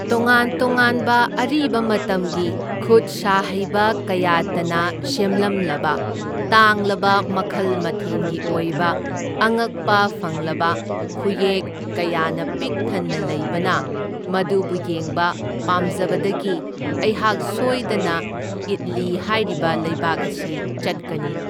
ꯇꯣꯉꯥꯟ ꯇꯣꯉꯥꯟꯕ ꯑꯔꯤꯕ ꯃꯇꯝꯒꯤ ꯈꯨꯠ ꯁꯥ ꯍꯩꯕ ꯀꯌꯥꯇꯅ ꯁꯦꯝꯂꯝꯂꯕ ꯇꯥꯡꯂꯕ ꯃꯈꯜ ꯃꯊꯦꯟꯒꯤ ꯑꯣꯏꯕ ꯑꯉꯛꯄ ꯐꯪꯂꯕ ꯈꯨꯌꯦꯛ ꯀꯌꯥꯅ ꯄꯤꯛ ꯊꯟꯅ ꯂꯩꯕꯅ ꯃꯗꯨꯕꯨ ꯌꯦꯡꯕ ꯄꯥꯝꯖꯕꯗꯒꯤ ꯑꯩꯍꯥꯛ ꯁꯣꯏꯗꯅ ꯏꯠꯂꯤ ꯍꯥꯏꯔꯤꯕ ꯂꯩꯕꯥꯛ ꯑꯁꯤ ꯆꯠꯀꯅꯤ꯫